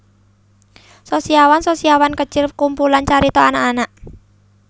Sosiawan Sosiawan Kecil kumpulan carita anak anak